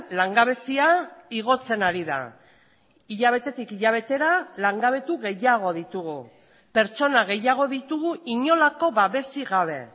langabezia igotzen ari da hilabetetik hilabetera langabetu gehiago ditugu pertsona gehiago ditugu inolako babesik gabe